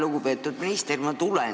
Lugupeetud minister!